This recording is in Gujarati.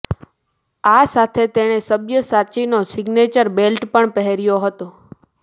આ સાથે તેણે સબ્યસાચીનો સિગ્નેચર બેલ્ટ પણ પહેર્યો હતો